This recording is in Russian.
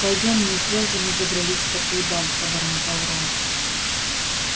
пойдём не зря же мы забрались в такую даль пробормотал рон